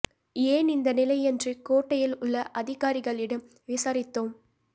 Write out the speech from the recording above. ஏன் இந்த நிலை என்று கோட்டையில் உள்ள அதிகாரிகளிடம் விசாரித்தோம்